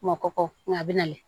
Makɔ kɔ nga a bɛna yen